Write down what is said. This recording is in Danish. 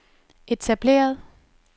etableret